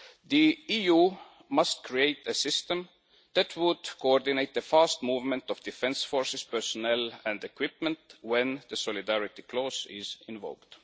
The EU must create a system that would coordinate the fast movement of defence forces personnel and equipment when the solidarity clause is invoked.